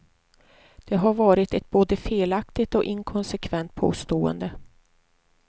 Det har varit ett både felaktigt och inkonsekvent påstående.